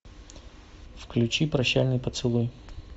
включи прощальный поцелуй